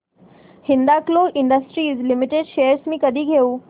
Hindalco industries limited shares मी कधी घेऊ